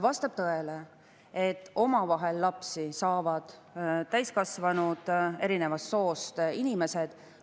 Vastab tõele, et omavahel saavad lapsi täiskasvanud eri soost inimesed.